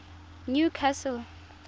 newcastle